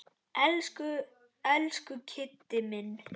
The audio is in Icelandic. Elsku, elsku Kiddi minn.